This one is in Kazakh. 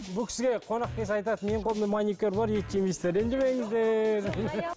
бұл кісіге қонақ келсе айтады менің қолымда маникюр бар ет жемейсіздер ренжімеңіздер